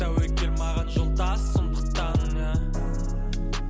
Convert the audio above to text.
тәуекел маған жолдас сондықтан ііі